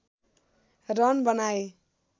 run बनाए